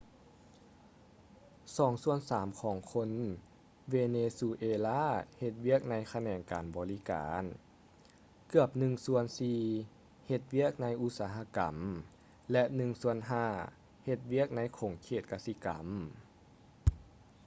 ສອງສ່ວນສາມຂອງຄົນເວເນຊູເອລາເຮັດວຽກໃນຂະແໜງການບໍລິການ ເກືອບໜຶ່ງສ່ວນສີ່ເຮັດວຽກໃນອຸດສະຫະກຳ ແລະ ໜຶ່ງສ່ວນຫ້າເຮັດວຽກໃນຂົງເຂດກະສິກຳ